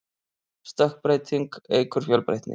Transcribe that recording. stökkbreyting eykur fjölbreytni